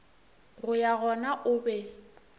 go ya gona o be